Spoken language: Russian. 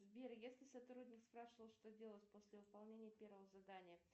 сбер если сотрудник спрашивал что делать после выполнения первого задания